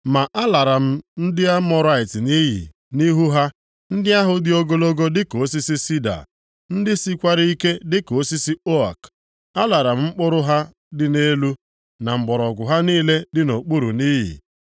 “Ma a lara m ndị Amọrait nʼiyi nʼihu ha, ndị ahụ dị ogologo dịka osisi sida, ndị sikwara ike dịka osisi ook. Alara m mkpụrụ ha dị nʼelu, na mgbọrọgwụ ha niile dị nʼokpuru nʼiyi.